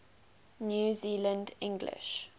new zealand english